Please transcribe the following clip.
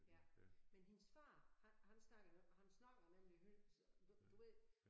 Ja men hendes far han snakkede han snakkede nemlig helt du ved